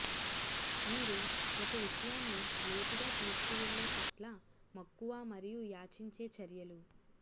మీరు ఒక విషయాన్ని లోతుగా తీసుకువెళ్ళే పట్ల మక్కువ మరియు యాచించే చర్యలు